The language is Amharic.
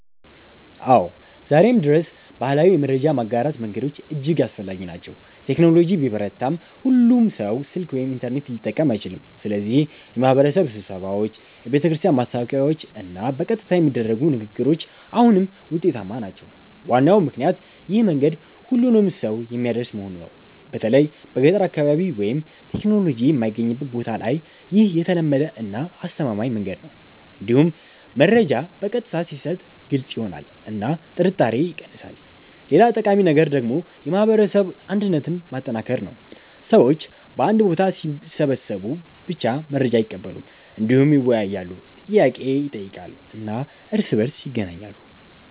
አዎ፣ ዛሬም ድረስ ባህላዊ የመረጃ ማጋራት መንገዶች እጅግ አስፈላጊ ናቸው። ቴክኖሎጂ ቢበረታም ሁሉም ሰው ስልክ ወይም ኢንተርኔት ሊጠቀም አይችልም፣ ስለዚህ የማህበረሰብ ስብሰባዎች፣ የቤተክርስቲያን ማስታወቂያዎች እና በቀጥታ የሚደረጉ ንግግሮች አሁንም ውጤታማ ናቸው። ዋናው ምክንያት ይህ መንገድ ሁሉንም ሰው የሚያደርስ መሆኑ ነው። በተለይ በገጠር አካባቢ ወይም ቴክኖሎጂ የማይገኝበት ቦታ ላይ ይህ የተለመደ እና አስተማማኝ መንገድ ነው። እንዲሁም መረጃ በቀጥታ ሲሰጥ ግልጽ ይሆናል እና ጥርጣሬ ይቀንሳል። ሌላ ጠቃሚ ነገር ደግሞ የማህበረሰብ አንድነትን ማጠናከር ነው። ሰዎች በአንድ ቦታ ሲሰበሰቡ ብቻ መረጃ አይቀበሉም፣ እንዲሁም ይወያያሉ፣ ጥያቄ ይጠይቃሉ እና እርስ በእርስ ይገናኛሉ።